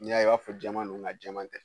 N'i y'a ye i b'a fɔ jɛman don nka jɛman tɛ